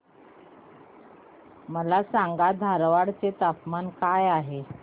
मला सांगा धारवाड चे तापमान काय आहे